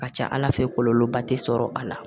Ka ca ala fɛ kɔlɔlɔba te sɔrɔ a la